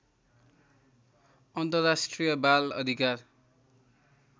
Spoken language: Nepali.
अन्तर्राष्ट्रिय बाल अधिकार